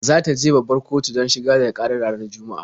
Za ta je babbar kotu don shigar da ƙara ranar Juma'a.